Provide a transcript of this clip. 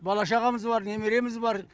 бала шағамыз бар немереміз бар